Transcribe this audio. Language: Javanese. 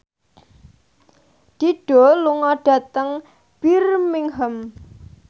Dido lunga dhateng Birmingham